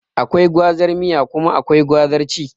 Akwai gwazar miya kuma akwai gwazar ci